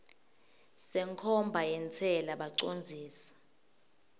senkhomba yentsela bacondzisi